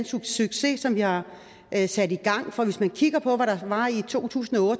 succes som vi har sat i gang for hvis man kigger på hvad der var i to tusind og